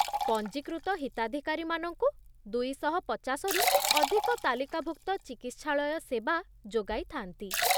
ପଞ୍ଜୀକୃତ ହିତାଧିକାରୀମାନଙ୍କୁ ଦୁଇଶହ ପଚାଶ ରୁ ଅଧିକ ତାଲିକାଭୁକ୍ତ ଚିକିତ୍ସାଳୟ ସେବା ଯୋଗାଇଥାନ୍ତି